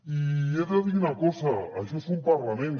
i he de dir una cosa això és un parlament